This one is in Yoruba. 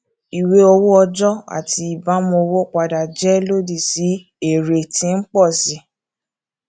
ìwé owó ọjọ àti ìbámu owó padà jẹ lòdì sí èrè tí ń pọ sí i